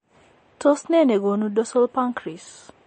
Tos nee negonu dorsal pancrease ?